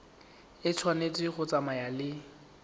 e tshwanetse go tsamaya le